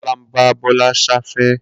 Kola n bá Bola ṣẹfẹ